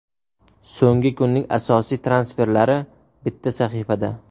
So‘nggi kunning asosiy transferlari bitta sahifada.